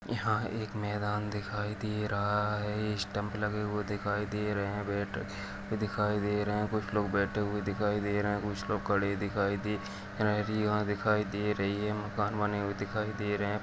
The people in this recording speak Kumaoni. यहाँ एक मैदान दिखाई दे रहा है स्टंप लगे हुए दिखाई दे रहे है बैट भी दिखाई दे रहे हैं कुछ लोग बैठे हुए दिखाई रहे हैं कुछ लोग खड़े दिखाई दे रहे हैं दिखाई दे रही है मकान बने हुए दिखाई दे रहे हैं।